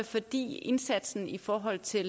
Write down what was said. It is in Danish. fordi indsatsen i forhold til